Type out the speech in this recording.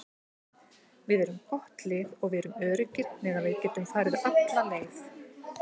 Við erum gott lið og við erum öruggir með að við getum farið alla leið.